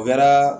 U kɛra